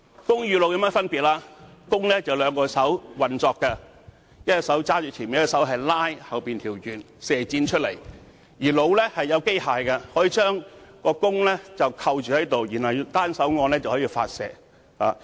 "弓"與"弩"的分別是，弓需要兩隻手同時運作，一隻手拿着前面，另一隻手則在後面拉弦，然後將箭射出來；"弩"是由機械將弓扣着，然後單手按掣便可以發射。